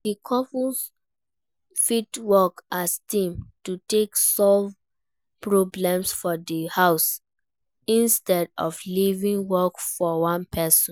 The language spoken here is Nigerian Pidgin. Di couple fit work as team to take solve problem for di house instead of leaving work for one person